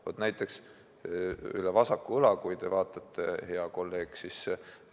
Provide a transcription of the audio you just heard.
Vaadake üle vasaku õla, hea kolleeg!